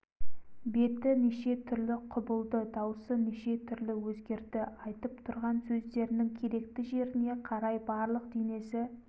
беті неше түрлі құбылды даусы неше түрлі өзгерді айтып тұрған сөздерінің керекті жеріне қарай барлық денесі